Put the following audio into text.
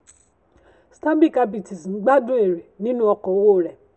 stanbic ibtc um gbádùn ère nínú ọkọ owó rẹ̀.